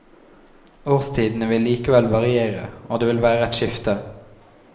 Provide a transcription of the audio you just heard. Årstidene vil likevel variere og det vil være et skifte.